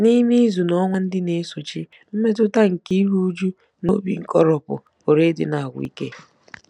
N'ime izu na ọnwa ndị na-esochi, mmetụta nke iru újú na obi nkoropụ pụrụ ịdị na-agwụ ike.